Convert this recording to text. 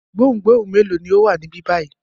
Gbohùngbohùn mélòó ni ó wà níbí báyìí?